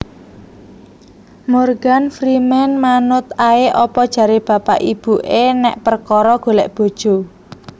Morgan Freeman manut ae opo jare bapak ibu e nek perkoro golek bojo